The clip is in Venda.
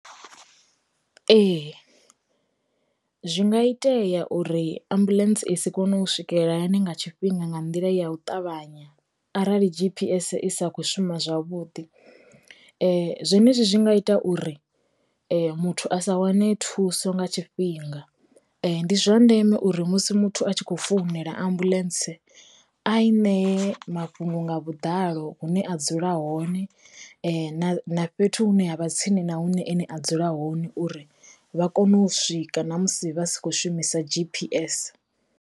Ee, zwi nga itea uri ambuḽentse i si kone u swikelela hayani nga tshifhinga nga nḓila ya u ṱavhanya arali G_P_S i sa kho shuma zwavhuḓi, zwenezwi zwi nga ita uri muthu a sa wane thuso nga tshifhinga, ndi zwa ndeme uri musi muthu a tshi kho founela ambuḽentse a i nee mafhungo nga vhuḓalo hune a dzula hone, na fhethu hune ha vha tsini na hune ene a dzula hone uri vha kone u swika na musi vha si kho shumisa G_P_S.